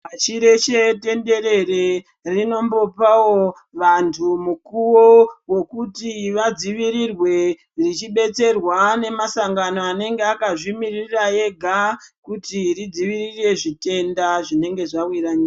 Pashi reshe tenderere rinombopawo vantu mukuwo wokuti vadzivirirwe, vachidetserwa ngemasangano anenge akazvimirira ega kuti ridzivirire zvitenda zvinenge zvawira nyika.